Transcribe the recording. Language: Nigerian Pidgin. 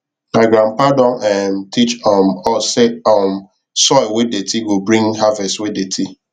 my grandpa don um teach um us say um soil wey dirty go bring harvest wey dirty